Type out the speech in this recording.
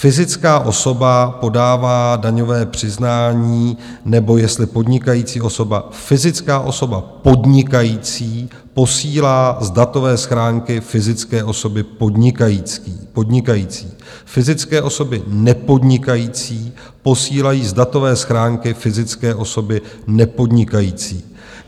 Fyzická osoba podává daňové přiznání - nebo jestli podnikající osoba: fyzická osoba podnikající posílá z datové schránky fyzické osoby podnikající, fyzické osoby nepodnikající posílají z datové schránky fyzické osoby nepodnikající.